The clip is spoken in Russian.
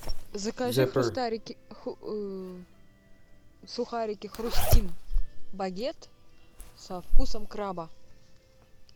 закажи сухарики хрустим багет со вкусом краба